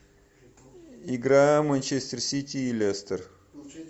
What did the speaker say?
игра манчестер сити и лестер